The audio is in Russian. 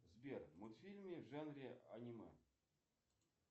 сбер мультфильмы в жанре аниме